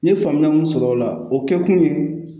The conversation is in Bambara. N ye faamuya mun sɔrɔ o la o kɛkun ye